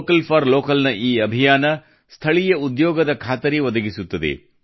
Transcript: vocal for ಲೋಕಲ್ನ ಈ ಅಭಿಯಾನವು ಸ್ಥಳೀಯ ಉದ್ಯೋಗದ ಖಾತರಿ ಒದಗಿಸುತ್ತದೆ